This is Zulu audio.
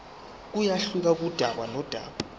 kuyehluka kudaba nodaba